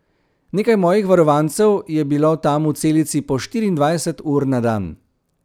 Nekaj mojih varovancev je bilo tam v celici po štiriindvajset ur na dan.